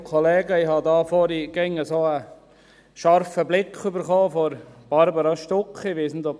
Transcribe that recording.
Ich habe vorhin einen scharfen Blick von Béatrice Stucki empfangen.